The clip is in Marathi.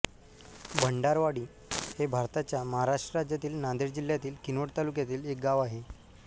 भंडारवाडी हे भारताच्या महाराष्ट्र राज्यातील नांदेड जिल्ह्यातील किनवट तालुक्यातील एक गाव आहे